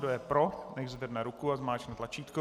Kdo je pro, nechť zvedne ruku a zmáčkne tlačítko.